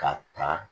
K'a ta